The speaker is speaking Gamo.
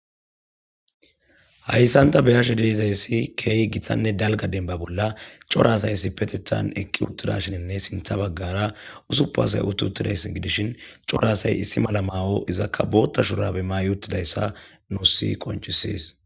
Haysan ta beyashe dizaysi kehi giittanne dalga demba bolla cora asay issippetetha eqi uttidashi sintha bagara 6asay utti uttidaysa gidishin c'ora asay issi mala mayo izika boththa shurabe mayi uttidaysa nus qonc'ises.